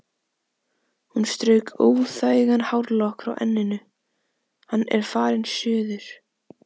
Hún strauk óþægan hárlokk frá enninu: Hann er farinn suður